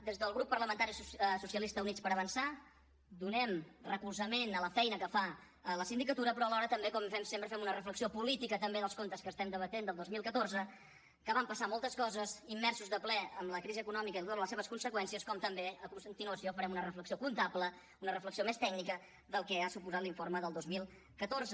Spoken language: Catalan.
des del grup parlamentari socialistes i units per avançar donem recolzament a la feina que fa la sindicatura però alhora també com fem sempre fem una reflexió política també dels comptes que estem debatent del dos mil catorze que van passar moltes coses immersos de ple en la crisi econòmica i totes les seves conseqüències com també a continuació farem una reflexió comptable una reflexió més tècnica del que ha suposat l’informe del dos mil catorze